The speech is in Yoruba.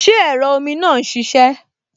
Ṣé ẹ̀rọ omi náà n ṣiṣẹ́?